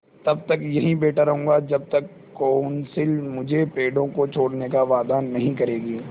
तब तक यहीं बैठा रहूँगा जब तक कौंसिल मुझे पेड़ों को छोड़ने का वायदा नहीं करेगी